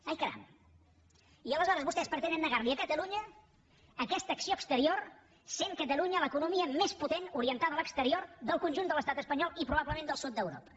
ai caram i aleshores vostès pretenen negar li a catalunya aquesta acció exterior sent catalunya l’economia més potent orientada a l’exterior del conjunt de l’estat espanyol i probablement del sud d’europa